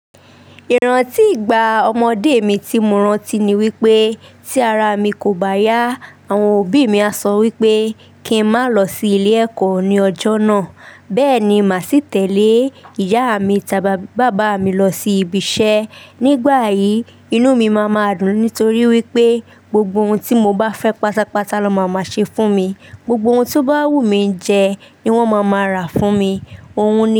Ìrántí ìgbà ọmọdé mi tí mo rántí ni wípé tí ara mi kò bá yá, àwọn òbí mi a sọ wípé kí n má lọ sí ilé ẹ̀kọ́ ní ọjọ́ náà. Bẹ́ẹ̀ ni, màá sì tẹ̀lé ìyá mi tàbí bàbá mi lọ sí ibi iṣẹ́. Nígbà yìí, inú mi máa ma dùn nítorí wípé gbogbo ohun tí mo bá fẹ́ pátápátá nọ máa ma ṣe fún mi. Gbogbo ohun to bá wù mí jẹ ni wón máa ma rà fún mi. Ohun ni.